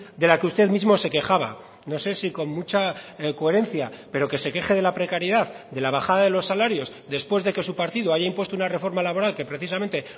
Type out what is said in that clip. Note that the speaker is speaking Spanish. de la que usted mismo se quejaba no sé si con mucha coherencia pero que se queje de la precariedad de la bajada de los salarios después de que su partido haya impuesto una reforma laboral que precisamente